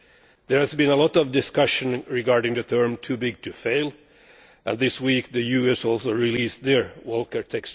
There has been a lot of discussion regarding the term too big to fail', and this week the US also released their Volcker Rule.